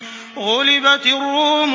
غُلِبَتِ الرُّومُ